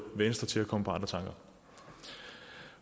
venstre til at komme på andre tanker